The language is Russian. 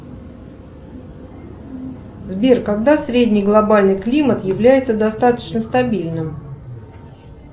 сбер когда средний глобальный климат является достаточно стабильным